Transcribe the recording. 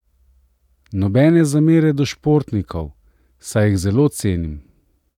Nobene zamere do športnikov, saj jih zelo cenim!